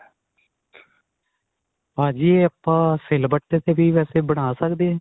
ਭਾਜੀ ਇਹ ਆਪਾਂ ਸਿਲਵੱਟੇ ਚ ਵੀ ਵੇਸੇ ਬਣਾ ਸਕਦੇ ਆ.